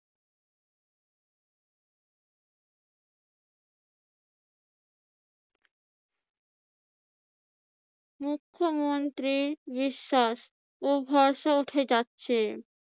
মুখ্যমন্ত্রীর বিশ্বাস ও ভরসা উঠে যাচ্ছে।